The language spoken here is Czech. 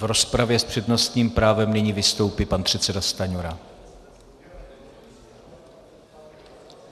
V rozpravě s přednostním právem nyní vystoupí pan předseda Stanjura.